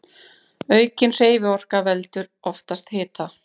Aukin hreyfiorka veldur oftast hita.